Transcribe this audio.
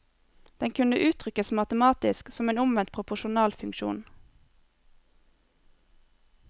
Den kunne uttrykkes matematisk, som en omvendt proporsjonal funksjon.